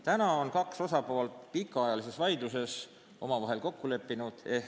Kaks osapoolt ehk kirikud ja riik on nüüd pikaajalises vaidluses omavahel kokku leppinud.